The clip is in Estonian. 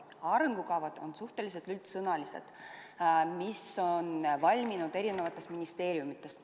Arengukavad on suhteliselt üldsõnalised, need on valminud ministeeriumides.